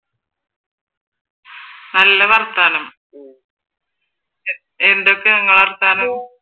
നല്ല വർത്തമാനം എന്തൊക്കെ നിങ്ങളുടെ വർത്തമാനം?